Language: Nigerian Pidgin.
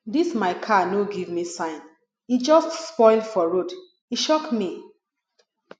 dis my car no give me sign e just spoil for road e shock me